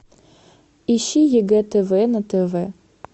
ищи ег тв на тв